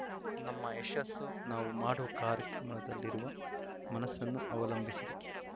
ನಮ್ಮ ಯಶಸ್ಸು ನಾವು ಮಾಡುವ ಕಾರ್ಯ ಕ್ರಮದಲ್ಲಿರುವ ಮನಸ್ಸನ್ನು ಅವಲಂಬಿಸಿದೆ